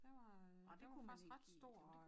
Der var øh der var faktisk ret stor øh